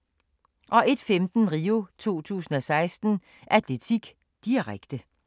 01:15: RIO 2016: Atletik, direkte